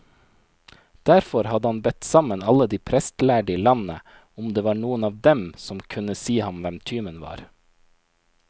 Derfor hadde han bedt sammen alle de prestlærde i landet, om det var noen av dem som kunne si ham hvem tyven var.